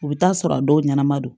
U bɛ taa sɔrɔ a dɔw ɲɛnama don